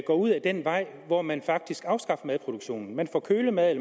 går ud ad den vej hvor man faktisk afskaffer madproduktionen man får kølemad